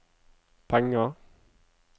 penger